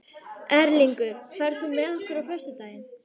Erlingur, ferð þú með okkur á föstudaginn?